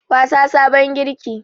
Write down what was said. Wasa farin girki